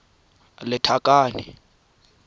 lethakane